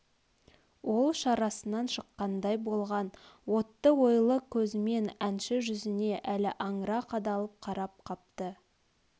ол шарасынан шыққандай болған отты ойлы көзмен әнші жүзіне әлі аңыра қадалып қарап қапты